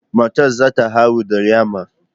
Matar za ta haihu da yamma